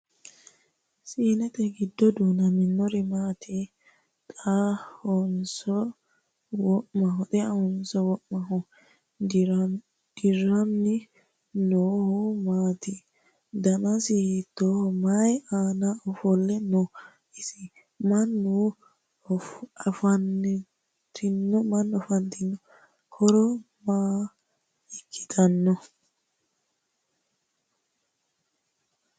Siinete gido du'nammannori maattiya? Xeahonso wa'maho? Diranni noohu maminiitti? danisi hiittoho? Mayi aanna ofolite noo ise? Mama afanttanno? Horo maa ikkittannoya?